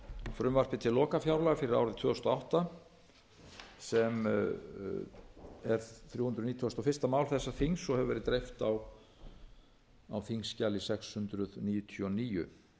frumvarpi til lokafjárlaga fyrir árið tvö þúsund og átta sem er þrjú hundruð nítugasta og fyrsta mál þessa þings og hefur dreift hefur verið á þingskjali sex hundruð níutíu og níu